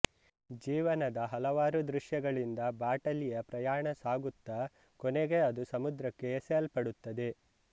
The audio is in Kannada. ಜೀವನದ ಹಲವಾರು ದೃಶ್ಯಗಳಿಂದ ಬಾಟಲಿಯ ಪ್ರಯಾಣ ಸಾಗುತ್ತಾ ಕೊನೆಗೆ ಅದು ಸಮುದ್ರಕ್ಕೆ ಎಸೆಯಲ್ಪಡುತ್ತದೆ